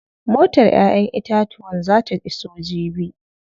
Motar ƴaƴen itatuwan zaa ta iso jibi.